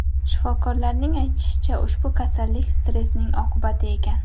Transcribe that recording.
Shifokorlarning aytishicha, ushbu kasallik stresning oqibati ekan.